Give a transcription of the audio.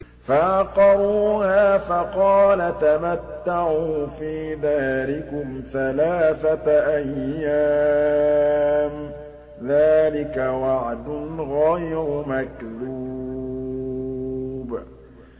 فَعَقَرُوهَا فَقَالَ تَمَتَّعُوا فِي دَارِكُمْ ثَلَاثَةَ أَيَّامٍ ۖ ذَٰلِكَ وَعْدٌ غَيْرُ مَكْذُوبٍ